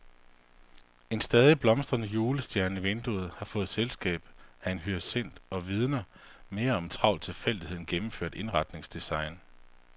En stadig blomstrende julestjerne i vinduet har fået selskab af en hyacint og vidner mere om travl tilfældighed end gennemført indretningsdesign.